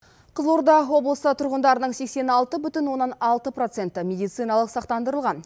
қызылорда облысы тұрғындарының сексен алты бүтін оннан алты проценті медициналық сақтандырылған